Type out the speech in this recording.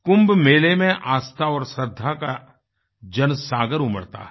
कुंभ मेले में आस्था और श्रद्धा का जनसागर उमड़ता है